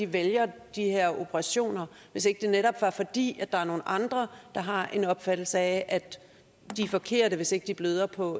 vælger de her operationer hvis ikke det netop var fordi nogle andre har en opfattelse af at de er forkerte hvis ikke de bløder på